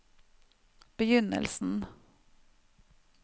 begynnelsen